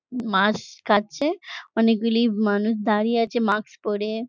মাছ কাটছে অনেকগুলি মানুষ দাঁড়িয়ে আছে মাস্ক পরে ।